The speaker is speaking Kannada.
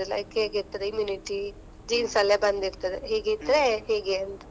ಮತ್ತೆ like ಹೇಗೆ ಇರ್ತದೆ immunity genes ಅಲ್ಲೇ ಬಂದ್ ಇರ್ತದೆ, ಹೇಗಿದ್ರೆ ಹೀಗೆ ಅಂತ.